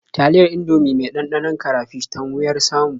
Taliyar Indomie mai ɗanɗanon karafish tan wuyar samu.